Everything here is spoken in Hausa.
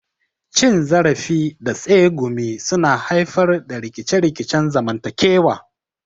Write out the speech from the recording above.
Cin zarafi da tsegumi suna haifar da rikice-rikicen zamantakewa.